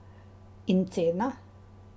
In cena?